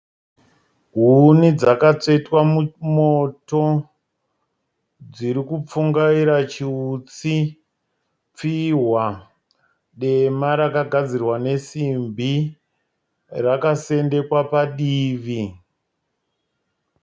Huni dzakatsvetwa mumoto. Dzirikupfungaira chiutsi. Pfihwa dema rakagadzirwa nesibhi rakasendekwa padivi.